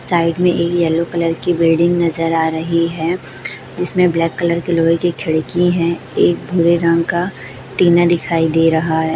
Side में एक yellow colour की बिल्डिंग नजर आ रही है जिसमें ब्लैक कलर के लोहे की खिड़की हैं एक भूरे रंग का टीना दिखाई दे रहा है।